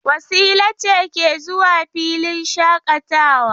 Wasila ce ke zuwa filin shaƙatawa.